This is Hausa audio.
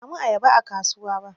Ban samu ayaba a kasuwa ba.